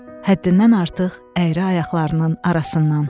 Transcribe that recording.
Həddindən artıq əyri ayaqlarının arasından.